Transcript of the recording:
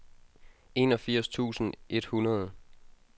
enogfirs tusind et hundrede